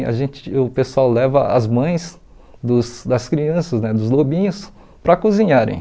A gente o pessoal leva as mães dos das crianças né, dos lobinhos, para cozinharem.